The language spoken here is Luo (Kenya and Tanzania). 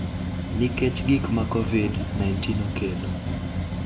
nikech gik ma Covid-19 okelo.